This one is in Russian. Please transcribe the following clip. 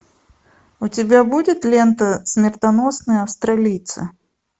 у тебя будет лента смертоносные австралийцы